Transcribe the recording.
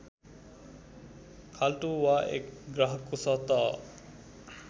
खाल्टो वा एक ग्रहको सतह